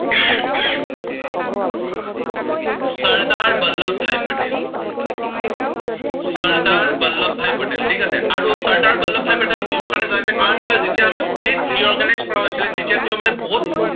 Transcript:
চৰ্দ্দাৰ বল্লৱভাই পেটেল। চৰ্দ্দাৰ বল্লৱভাই পেটেল, ঠিক আছে। আৰু চৰ্দ্দাৰ বল্লৱভাই পেটেলক কিহৰ কাৰনে জনা যায়, কাৰন কিয় যেতিয়া আমাৰ state re organized কৰা হৈছিলে তেতিয়া তেওঁ মানে বহুত